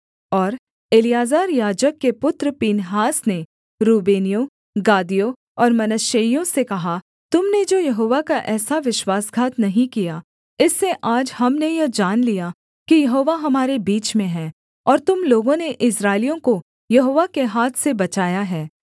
और एलीआजर याजक के पुत्र पीनहास ने रूबेनियों गादियों और मनश्शेइयों से कहा तुम ने जो यहोवा का ऐसा विश्वासघात नहीं किया इससे आज हमने यह जान लिया कि यहोवा हमारे बीच में है और तुम लोगों ने इस्राएलियों को यहोवा के हाथ से बचाया है